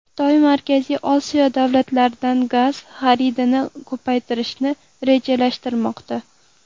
Xitoy Markaziy Osiyo davlatlaridan gaz xaridini ko‘paytirishni rejalashtirmoqda.